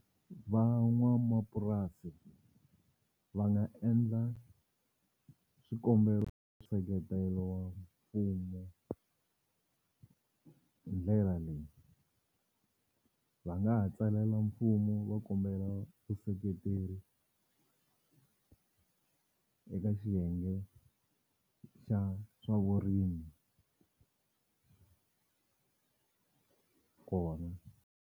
Van'wamapurasi va nga endla swikombelo wa mfumo hi ndlela leyi va nga ha tsalela mfumo va kombela vuseketeri eka xiyenge xa swa vurimi kona.